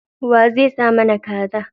Wa zai sai mana Kaza.